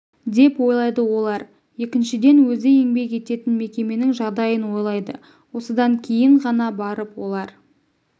деп ойлайды олар екіншіден өзі еңбек ететін мекеменің жағдайын ойлайды осыдан кейін ғана барып олар